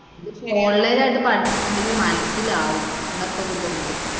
online ആയി പഠിച്ചിട്ടു എന്തെങ്കിലും മനസിലാവും എന്നൊക്കെ ഒരു ഇത് ഉണ്ട്.